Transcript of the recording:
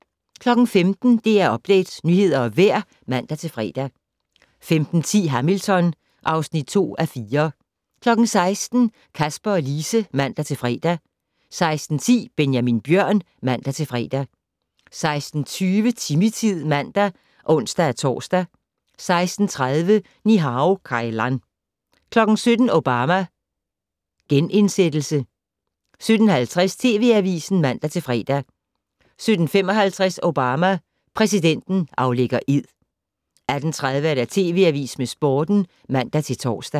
15:00: DR Update - nyheder og vejr (man-fre) 15:10: Hamilton (2:4) 16:00: Kasper og Lise (man-fre) 16:10: Benjamin Bjørn (man-fre) 16:20: Timmy-tid (man og ons-tor) 16:30: Ni-Hao Kai Lan 17:00: Obama: Genindsættelse 17:50: TV Avisen (man-fre) 17:55: Obama: Præsidenten aflægger ed 18:30: TV Avisen med Sporten (man-tor)